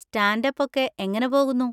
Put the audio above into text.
Stand up ഒക്കെ എങ്ങനെ പോകുന്നു?